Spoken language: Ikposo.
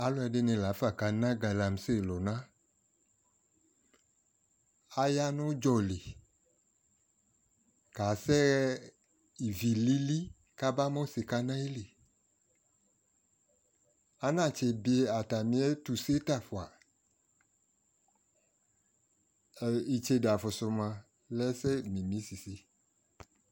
alʋɛdini laƒa kana galamsey lʋna, aya nʋ ʋdzɔli kasɛ ivi lili kʋaba mʋsikanʋ ayili, ana tsi biɛ atami ɛtʋ bita ƒʋa, itsɛdɛ aƒʋsʋ mʋa lɛ ɛsɛ mimi sisi